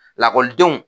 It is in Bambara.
Lakɔlidenw